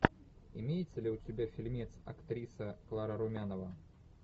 имеется ли у тебя фильмец актриса клара румянова